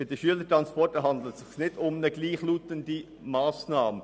Bei den Schülertransporten handelt es sich nicht um eine gleichlautende Massnahme.